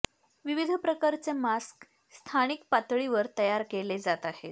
विविध प्रकारचे मास्क स्थानिक पातळीवर तयार केले जात आहेत